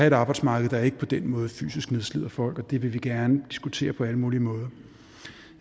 et arbejdsmarked der ikke på den måde fysisk nedslider folk og det vil vi gerne diskutere på alle mulige måder